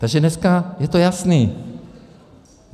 Takže dneska je to jasné.